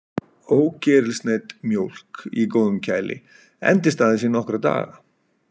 Ógerilsneydd mjólk í góðum kæli endist aðeins í nokkra daga.